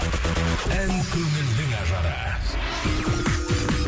ән көңілдің ажары